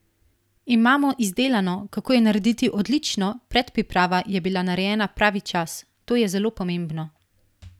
Imamo izdelano, kako jo narediti odlično, predpriprava je bila narejena pravi čas, to je zelo pomembno.